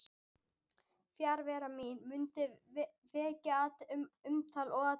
Fjarvera mín mundi vekja umtal og athygli.